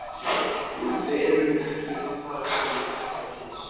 Við erum ekki að fara til þorpsins